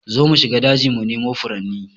Zo mu shiga daji mu nemo furanni